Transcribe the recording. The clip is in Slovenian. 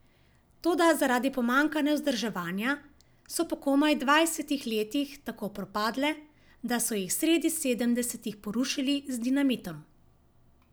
Toda zaradi pomanjkanja vzdrževanja so po komaj dvajsetih letih tako propadle, da so jih sredi sedemdesetih porušili z dinamitom.